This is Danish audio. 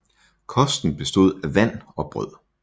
Kosten bestod af vand og brød